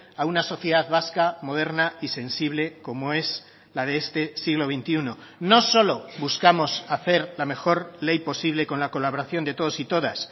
a una sociedad vasca moderna y sensible como es la de este siglo veintiuno no solo buscamos hacer la mejor ley posible con la colaboración de todos y todas